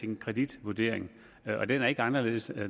en kreditvurdering og den er ikke anderledes